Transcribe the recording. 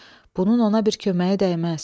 Bunun ona bir köməyi dəyməz.